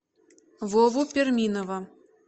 вову перминова